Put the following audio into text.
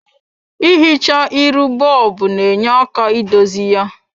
I hichaa iru bob na-nye aka idozi ya.